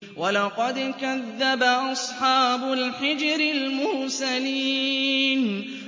وَلَقَدْ كَذَّبَ أَصْحَابُ الْحِجْرِ الْمُرْسَلِينَ